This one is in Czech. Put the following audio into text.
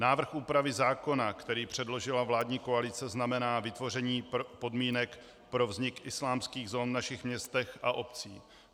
Návrh úpravy zákona, který předložila vládní koalice, znamená vytvoření podmínek pro vznik islámských zón v našich městech a obcích.